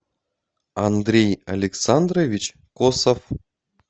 андрей александрович косов